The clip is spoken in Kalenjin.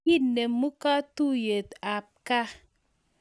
Kinemu katuyeit ab kaa